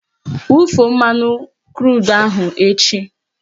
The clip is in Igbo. Wufuo mmanụ krudu ahụ echi!